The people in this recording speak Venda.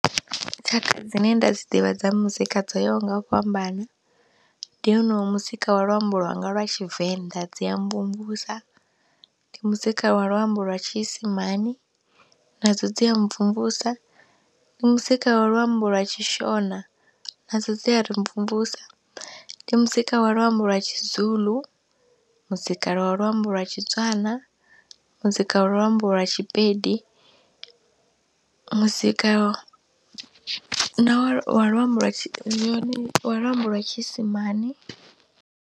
Tshakha dzine nda dzi ḓivha dza muzika dzo yaho nga u fhambana, ndi honoyu muzika wa luambo lwanga lwa Tshivenḓa dzi a mvumvusa, ndi muzika wa luambo lwa tshiisimane nadzo dzi a mvumvusa, ndi muzika wa luambo lwa tshi Shona nadzo dzi a ri mvumvusa, ndi muzika wa luambo lwa tshi Zulu, muzika lwa luambo lwa tshi Tswana, muzika lwa luambo lwa tshi Pedi, muzika na wa luambo lwa tshi wa luambo lwa tshiisimane.